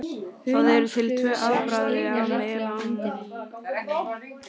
Það eru til tvö afbrigði af melaníni.